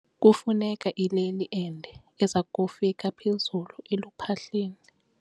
Kufuneka ileli ende eza kufika phezulu eluphahleni.